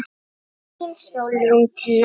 Þín Sólrún Tinna.